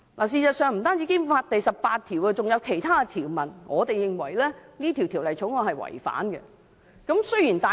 事實上，不僅是《基本法》第十八條，我們認為《條例草案》更違反了《基本法》其他條文。